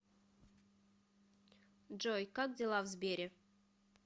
джой как дела в сбере